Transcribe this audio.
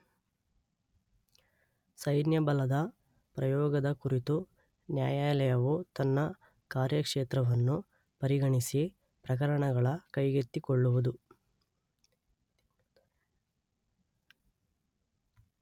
ಸೈನ್ಯಬಲದ ಪ್ರಯೋಗದ ಕುರಿತು ನ್ಯಾಯಾಲಯವು ತನ್ನ ಕಾರ್ಯಕ್ಷೇತ್ರವನ್ನು ಪರಿಗಣಿಸಿ ಪ್ರಕರಣಗಳ ಕೈಗೆತ್ತಿಕೊಳ್ಳುತ್ತದೆ.